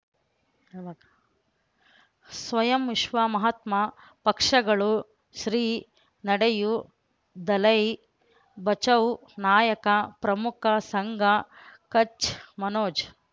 ಸ್ವಯಂ ವಿಶ್ವ ಮಹಾತ್ಮ ಪಕ್ಷಗಳು ಶ್ರೀ ನಡೆಯೂ ದಲೈ ಬಚೌ ನಾಯಕ ಪ್ರಮುಖ ಸಂಘ ಕಚ್ ಮನೋಜ್